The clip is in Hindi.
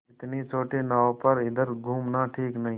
इतनी छोटी नाव पर इधर घूमना ठीक नहीं